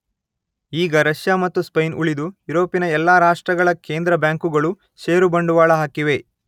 ಈಗ ರಷ್ಯ ಮತ್ತು ಸ್ಪೇನ್ ಉಳಿದು ಯುರೋಪಿನ ಎಲ್ಲಾ ರಾಷ್ಟ್ರಗಳ ಕೇಂದ್ರ ಬ್ಯಾಂಕುಗಳು ಷೇರು ಬಂಡವಾಳ ಹಾಕಿವೆ.